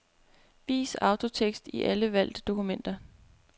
Vis autotekst i alle valgte dokumenter.